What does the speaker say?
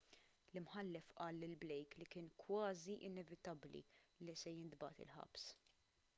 l-imħallef qal lil blake li kien kważi inevitabbli li se jintbagħat il-ħabs